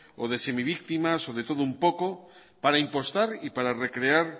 o de semivíctima o de todo un poco para impostar y para recrear